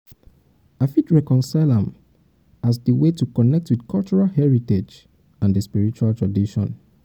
i fit reconcile am by accept am as di way to connect with cultural heritage and di sprirtual tradition.